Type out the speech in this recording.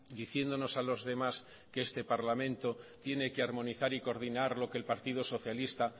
diciéndonos a los demás que este parlamento tiene que armonizar y coordinar lo que el partido socialista